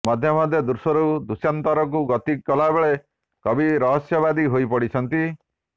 ମଧ୍ୟେ ମଧ୍ୟେ ଦୃଶ୍ୟରୁ ଦୃଶ୍ୟାନ୍ତରକୁ ଗତି କଲାବେଳେ କବି ରହସ୍ୟବାଦୀ ହୋଇପଡିଛନ୍ତି